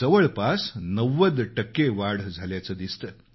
जवळपास 90 टक्के वाढ झाल्याचं दिसतं